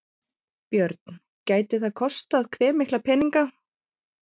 Björn: Gæti það kostað hve mikla peninga?